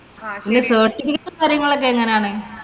ഇനി certificate ഉം, കാര്യങ്ങളും ഒക്കെ എങ്ങനാണ്.